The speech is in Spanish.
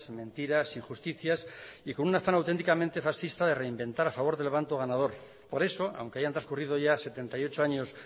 mentiras injusticias y con un afán auténticamente fascista de reinventar a favor del bando ganador por eso aunque hayan transcurrido ya setenta y ocho años